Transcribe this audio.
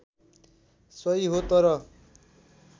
सही हो तर